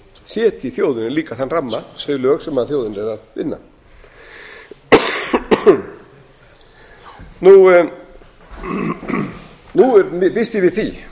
setji þjóðinni líka þann ramma þau lög sem þjóðin er að vinna nú býst ég við því